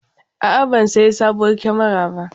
A'a, ban sayi sabuwar kyamara ba.